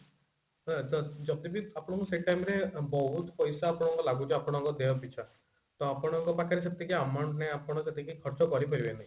ଯଦି ବି ଆପଣଙ୍କୁ ସେ time ରେ ବହୁତ ପଇସା ଆପଣଙ୍କୁ ଲାଗୁଛି ଆପଣଙ୍କ ଦେହ ପିଛା ତ ଆପଣଙ୍କ ପାଖରେ ସେତିକି amount ନାହିଁ ଆପଣ ସେତିକି ଖର୍ଚ କରିପାରିବେ ନି